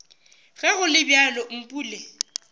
ge go le bjalo mpule